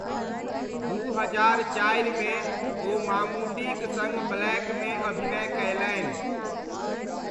दू हजार चारिमे ओ मामूटीक सङ्ग ब्लैकमे अभिनय कयलनि ।